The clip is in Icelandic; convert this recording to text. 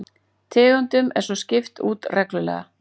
Tegundum er svo skipt út reglulega